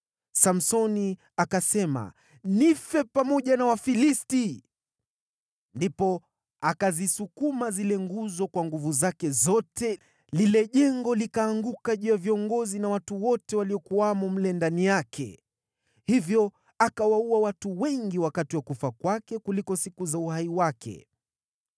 Samsoni akasema, “Nife pamoja na Wafilisti!” Ndipo akazisukuma zile nguzo kwa nguvu zake zote, lile jengo likaanguka juu ya viongozi na watu wote waliokuwamo mle ndani yake. Hivyo akawaua watu wengi wakati wa kufa kwake kuliko siku za uhai wake.